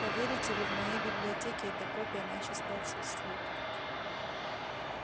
поверите ли в моей библиотеке эта копия начисто отсутствует